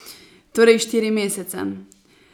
Torej štiri mesece.